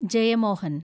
Jayamohan